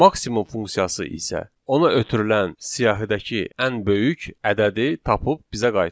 Maksimum funksiyası isə ona ötürülən siyahidəki ən böyük ədədi tapıb bizə qaytarır.